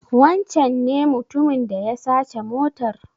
Wancen ne mutumin da ya sace motar?